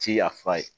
Ci yafa ye